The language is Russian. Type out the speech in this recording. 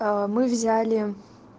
мы взяли